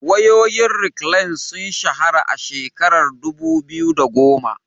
Wayoyin Reklan sun shahara a shekarar dubu biyu da goma.